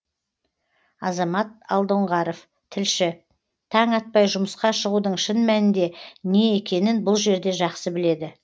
азамат алдоңғаров тілші таң атпай жұмысқа шығудың шын мәнінде не екенін бұл жерде жақсы біледі